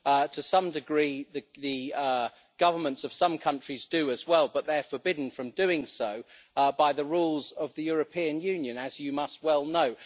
To some degree the governments of some countries do as well, but they are forbidden from doing so by the rules of the European Union, as you must well know.